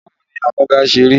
Báwo ni amúga ṣe rí?